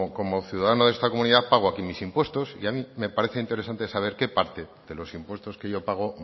como ciudadano de esta comunidad pago aquí mis impuestos y a mí me parecen interesantes saber qué parte de los impuestos que yo pago